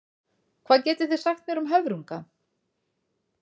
Hvað getið þið sagt mér um höfrunga?